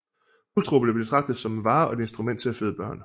Hustruer blev betragtet som en vare og et instrument til at føde børn